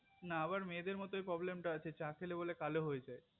না আবার মেয়েদের মতো problem টা আছে যে চা খেলে বলে কালো হয়ে যায়